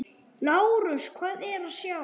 LÁRUS: Hvað er að sjá?